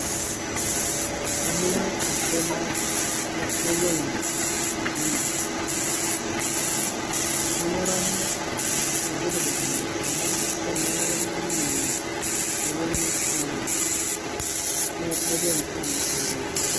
Adumu ake na naiwuang'ie tesarng'ab naing'uraki oltukutuk onap Aya ang' arashu aing'uraki lenye peeponu aaya nepuo aaya sipitali.